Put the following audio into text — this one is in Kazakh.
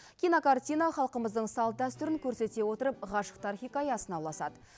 кинокартина халқымыздың салт дәстүрін көрсете отырып ғашықтар хикаясына ұласады